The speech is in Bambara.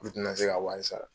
N tɛ na se k'a wari sara.